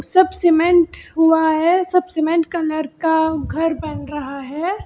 सब सीमेंट हुआ है सब सीमेंट कलर का घर बन रहा है।